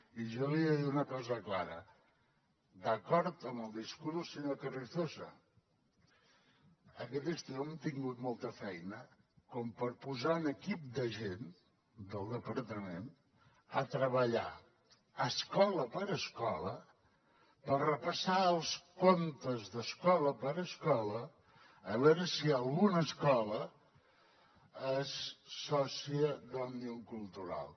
i jo li he de dir una cosa clara d’acord amb el discurs del senyor carrizosa aquest estiu hem tingut molta feina per posar un equip de gent del departament a treballar escola per escola per repassar els comptes d’escola per escola a veure si alguna escola és sòcia d’òmnium cultural